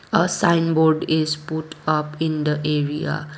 a sign board is put up in the area.